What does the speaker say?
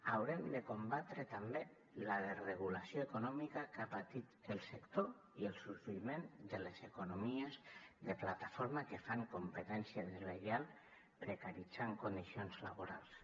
haurem de combatre també la desregulació econòmica que ha patit el sector i el sorgiment de les economies de plataforma que fan competència deslleial i precaritzen condicions laborals